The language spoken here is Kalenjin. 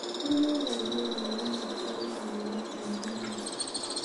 burgeiiyet koune en new york en korunrt ab raini